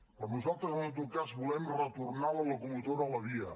però nosaltres en tot cas volem retornar la locomotora a la via